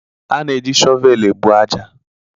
A na-eji shọvel ebu ájá